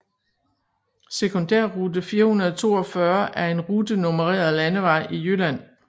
Sekundærrute 442 er en rutenummereret landevej i Jylland